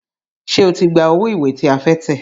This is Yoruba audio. Ṣé o ti gba owó ìwé tí a fẹ́ tẹ̀?